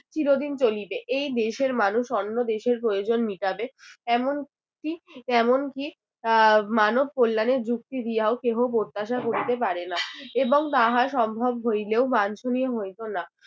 চিরদিন চলিবে এই দেশের মানুষ অন্য দেশের প্রয়োজন মিটাবে, এমন কী এমন কী এর মানব কল্যাণের যুক্তি দিয়াও কেহ প্রত্যাশা করিতে পারে না এবং তাহা সম্ভব হইলেও বাঞ্চনীয় হইত না।